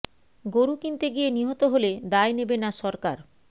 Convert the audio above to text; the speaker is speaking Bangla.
গোরু কিনতে গিয়ে নিহত হলে দায় নেবে না সরকার